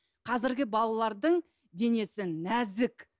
қазіргі балалардың денесі нәзік